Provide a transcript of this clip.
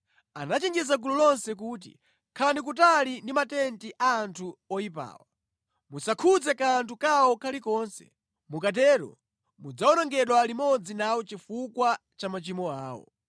Anachenjeza gulu lonse kuti, “Khalani kutali ndi matenti a anthu oyipawa! Musakhudze kanthu kawo kalikonse, mukatero mudzawonongedwa limodzi nawo chifukwa cha machimo awo.”